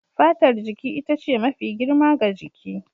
Fatar jiki ita ce mafi girma ga jiki.